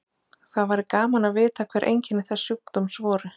Það væri gaman að vita hver einkenni þess sjúkdóms voru.